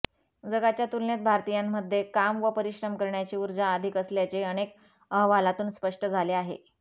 जगाच्या तुलनेत भारतीयांमध्ये काम व परिश्रम करण्याची ऊर्जा अधिक असल्याचे अनेक अहवालांतून स्पष्ट झाले आहे